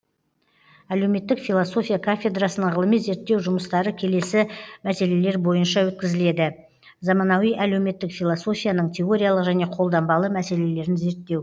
әлеуметтік философия кафедрасына ғылыми зерттеу жұмыстары келесі мәселелер бойынша өткізіледі заманауи әлеуметтік философияның теориялық және қолданбалы мәселелерін зерттеу